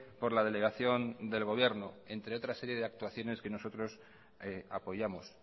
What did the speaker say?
por la delegación del gobierno entre otras serie de actuaciones que nosotros apoyamos